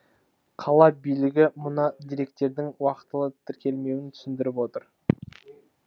қала билігі мұны деректердің уақытылы тіркелмеуімен түсіндіріп отыр